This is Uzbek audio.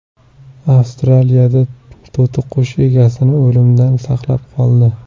Avstraliyada to‘tiqush egasini o‘limdan saqlab qoldi.